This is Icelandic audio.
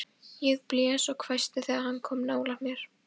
Ég blés og hvæsti þegar hann kom nálægt mér.